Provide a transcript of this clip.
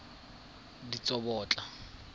ditsobotla